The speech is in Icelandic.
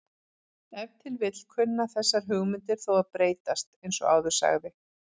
Ef til vill kunna þessar hugmyndir þó að breytast eins og áður sagði.